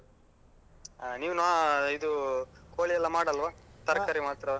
ಹಾ ನೀವ್ ನಾನ್ ಅಹ್ ಇದು ಕೋಳಿಯೆಲ್ಲ ಮಾಡಲ್ವಾ? ತರಕಾರಿ ಮಾತ್ರವಾ?